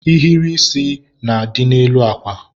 nhiri isi na-adị n'elu akwa.